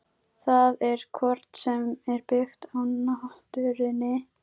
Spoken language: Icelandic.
Það er hvort sem er byggt á náttúrunni.